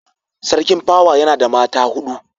Sarkin pawa yana da mata hudu